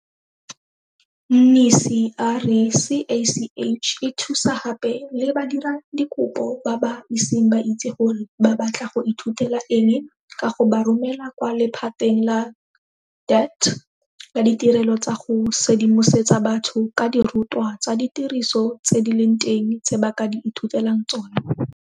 Mnisi a re CACH e thusa gape le badiradikopo ba ba iseng ba itse gore ba batla go ithutela eng ka go ba romela kwa lephateng la DHET la Ditirelo tsa go Sedimosetsa Batho ka Dirutwa tsa Ditiro tse di Leng Teng tse ba ka di Ithutelang Tsona.